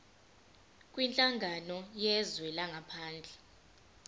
kwinhlangano yezwe langaphandle